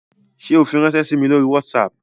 Ṣe o firanṣẹ sí mí lórí WhatsApp?